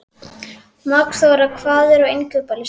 Magnþóra, hvað er á innkaupalistanum mínum?